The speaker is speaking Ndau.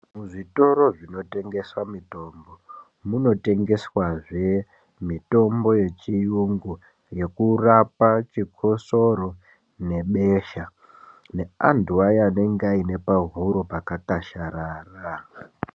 Muzvitoro zvinotengeswa mutombo munotengeswa zve munotengeswa zvevmitombo yechiyungu yekurapa chikotsoro nebesha neantu aya anenge aine pahuro pakakwasharara.